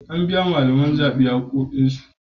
An biya malaman zaɓe haƙƙoƙinsu.